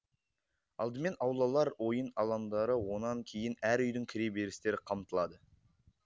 алдымен аулалар ойын алаңдары онан кейін әр үйдің кіре берістері қамтылады